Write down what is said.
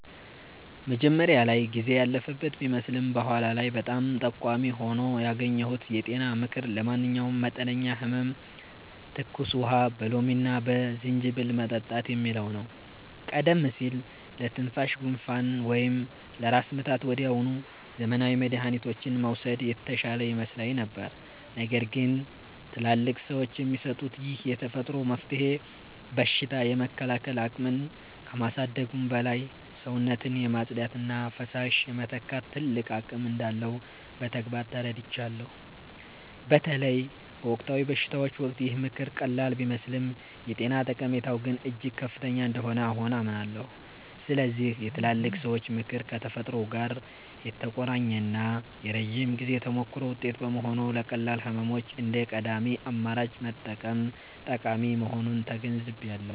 መጀመሪያ ላይ ጊዜ ያለፈበት ቢመስልም በኋላ ላይ በጣም ጠቃሚ ሆኖ ያገኘሁት የጤና ምክር 'ለማንኛውም መጠነኛ ህመም ትኩስ ውሃ በሎሚና በዝንጅብል መጠጣት' የሚለው ነው። ቀደም ሲል ለትንሽ ጉንፋን ወይም ለራስ ምታት ወዲያውኑ ዘመናዊ መድኃኒቶችን መውሰድ የተሻለ ይመስለኝ ነበር። ነገር ግን ትላልቅ ሰዎች የሚሰጡት ይህ የተፈጥሮ መፍትሄ በሽታ የመከላከል አቅምን ከማሳደጉም በላይ፣ ሰውነትን የማጽዳትና ፈሳሽ የመተካት ትልቅ አቅም እንዳለው በተግባር ተረድቻለሁ። በተለይ በወቅታዊ በሽታዎች ወቅት ይህ ምክር ቀላል ቢመስልም የጤና ጠቀሜታው ግን እጅግ ከፍተኛ እንደሆነ አሁን አምናለሁ። ስለዚህ የትላልቅ ሰዎች ምክር ከተፈጥሮ ጋር የተቆራኘና የረጅም ጊዜ ተሞክሮ ውጤት በመሆኑ፣ ለቀላል ህመሞች እንደ ቀዳሚ አማራጭ መጠቀም ጠቃሚ መሆኑን ተገንዝቤያለሁ።